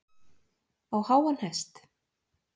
Á háan hest